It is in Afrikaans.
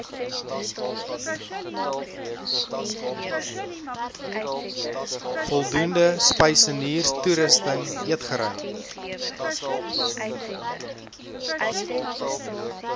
voldoende spysenierstoerusting eetgery